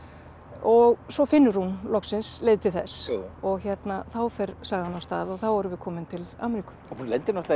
og svo finnur hún loksins leið til þess og þá fer sagan af stað og þá erum við komin til Ameríku hún lendir náttúrulega